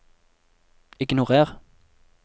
ignorer